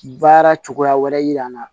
Baara cogoya wɛrɛ yira an na